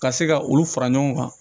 Ka se ka olu fara ɲɔgɔn kan